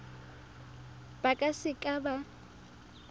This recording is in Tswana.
ba ka se ka ba